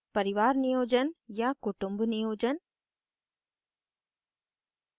5 परिवार niyojan या kutumb niyojan